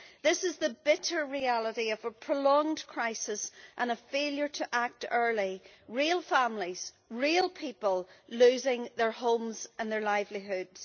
This is the bitter reality of a prolonged crisis and a failure to act early real families, real people, losing their homes and their livelihoods.